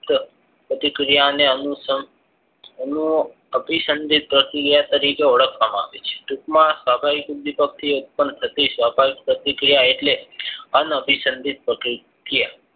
પ્રતિક્રિયાને એનું અભિસંદિત પ્રક્રિયા તારીકે ઓળખવામાં આવે છે ટૂંકમાં થી ઉત્પન્ન થતી સ્વાભાવિક પ્રતિક્રિયા એટલે અનાભિસંદિત પ્રતિક્રિયા